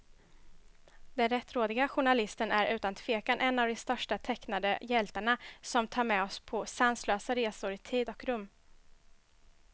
Den rättrådige journalisten är utan tvekan en av de största tecknade hjältarna, som tar med oss på sanslösa resor i tid och rum.